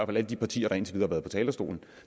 blandt de partier der indtil videre har været på talerstolen